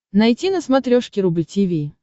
найти на смотрешке рубль ти ви